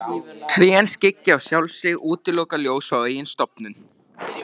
Trén skyggja á sjálf sig, útiloka ljós frá eigin stofnum.